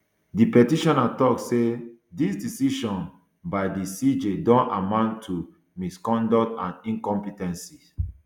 di petitioner tok say dis decision um by di cj don amount to misconduct and incompe ten ce